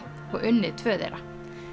og unnið tvö þeirra